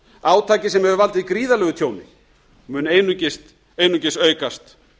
átaki sem hefur valdið gríðarlegu tjóni mun einungis aukast